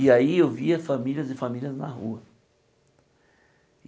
E aí eu via famílias e famílias na rua.